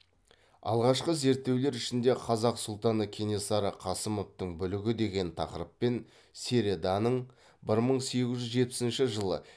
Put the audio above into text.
алғашқы зерттеулер ішінде қазақ сұлтаны кенесары қасымовтың бүлігі деген тақырыппен середаның бір мың сегіз жүз жетпісінші жылы